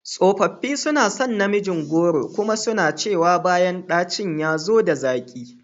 Tsofaffi suna son namijin goro kuma suna cewa bayan dacin ya zo da zaƙi.